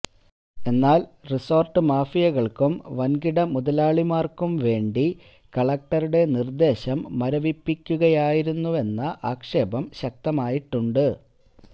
എന്നാൽ റിസോർട്ട് മാഫിയകൾക്കും വൻകിട മുതലാളിമാർക്കും വേണ്ടി കലക്ടറുടെ നിർദ്ദേശം മരവിപ്പിക്കുകയായിരുന്നുവെന്ന ആക്ഷേപം ശക്തമായിട്ടുണ്ട്